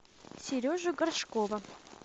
сережу горшкова